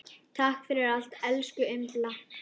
Takk fyrir allt, elsku Imba.